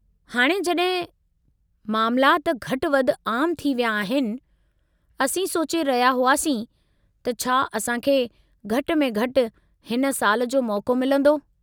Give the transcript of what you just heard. हाणे जॾहिं मामलाति घटि-वधि आम थी विया आहिनि, असीं सोचे रहिया हुआसीं त छा असां खे घटि में घटि हिन साल जो मौक़ो मिलंदो।